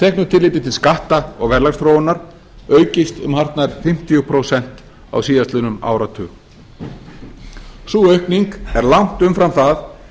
teknu tilliti til skatta og verðlagsþróunar aukist um hartnær fimmtíu prósent á síðastliðnum áratug sú aukinn er langt umfram það